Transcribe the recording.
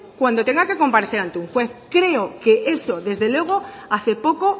cuando tenga que comparecer ante un juez creo que eso desde luego hace poco